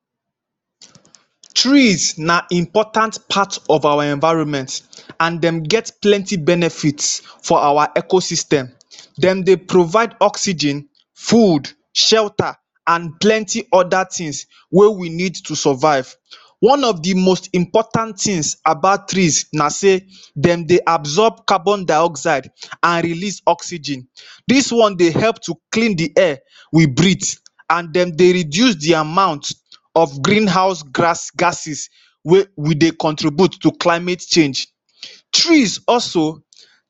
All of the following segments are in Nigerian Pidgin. um Trees na important part of our environment and dem get plenty benefit for our ecosystem. Dem dey provide oxygen food, shelter and plenty other things wey we need to survive. One of the most important things about trees na sey dem dey absorb carbondioxide and release oxygen. Dis one dey help to clean the air we breathe and dem dey reduce the amount of greenhouse grass gases wey we dey contribute to climate change. Trees also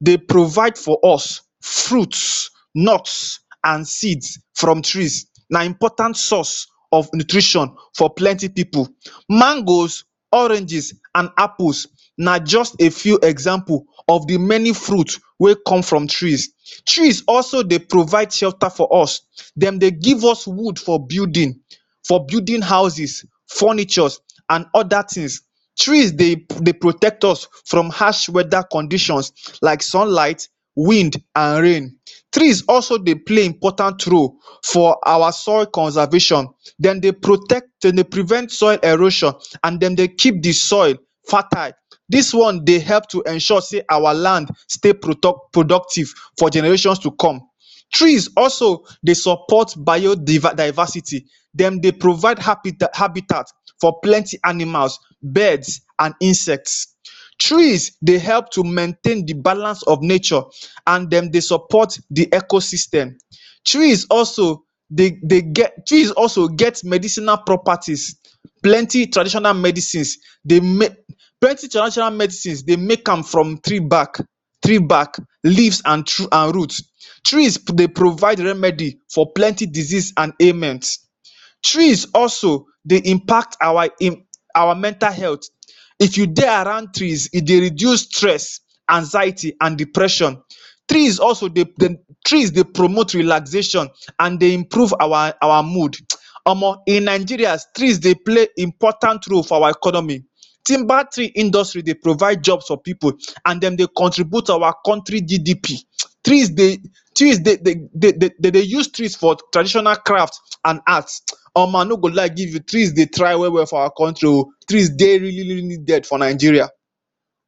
dey provide for us fruits. Nuts and seeds from trees na important source of nutrition for plenty people. Mangoes, oranges and apples na just a few example of the many fruits wey come from trees. Trees also dey provide shelter for us. Dem dey give us wood for building, for building houses, furnitures and other things. Trees dey protect us from harsh weather conditions like sunlight, wind and rain. Trees also dey play important role for our soil conservation. Dem dey protect, dem dey prevent soil erosion and dem dey keep the soil fertiled. Dis one dey help to ensure sey our land stay product productive for generations to come. Trees also dey support bio diver diversity. Dem dey provide habitat habitat for plenty animals, birds and insects. Trees dey help to maintain the balance of nature and dem dey support the ecosystem. Trees also dey dey get trees also get medicinal properties. Plenty traditional medicine dey make plenty traditional medicine, they make am from tree back, tree back, leaves and root. Trees dey provide remedy for plenty disease and ailment. Trees also dey impact our in our mental health. If you dey around trees, e dey reduce stress, anxiety and depression. Trees also dey dem trees dey promote relaxation and dey improve our our mood um. Omo in Nigeria, trees dey play important roles for our economy. Timber tree industry dey provide job for pipu and dem dey contribute to our country GDP um. Trees dey trees dey dey dey use trees for traditional craft and art. Omo i no go lie give you, tree dey try well well for our country oh. Trees dey really really needed for Nigeria.